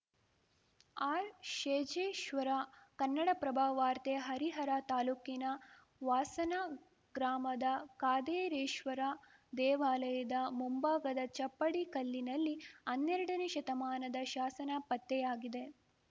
ಆರ್‌ಶೇಜೇಶ್ವರ ಕನ್ನಡಪ್ರಭ ವಾರ್ತೆ ಹರಿಹರ ತಾಲೂಕಿನ ವಾಸನ ಗ್ರಾಮದ ಕಾದಾರೇಶ್ವರ ದೇವಾಲಯದ ಮುಂಭಾಗದ ಚಪ್ಪಡಿ ಕಲ್ಲಿನಲ್ಲಿ ಹನ್ನೆರಡನೇ ಶತಮಾನದ ಶಾಸನ ಪತ್ತೆಯಾಗಿದೆ